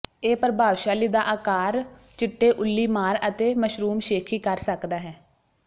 ਇਹ ਪ੍ਰਭਾਵਸ਼ਾਲੀ ਦਾ ਆਕਾਰ ਚਿੱਟੇ ਉੱਲੀਮਾਰ ਅਤੇ ਮਸ਼ਰੂਮ ਸ਼ੇਖੀ ਕਰ ਸਕਦਾ ਹੈ